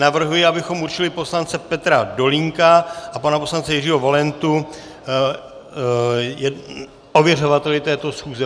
Navrhuji, abychom určili poslance Petra Dolínka a pana poslance Jiřího Valentu ověřovateli této schůze.